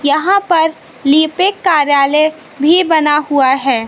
यहां पर लिपिक कार्यालय भी बना हुआ है।